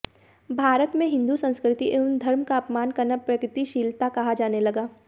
भारत में हिन्दू संस्कृति एवं धर्म का अपमान करना प्रगतिशीलता कहा जाने लगा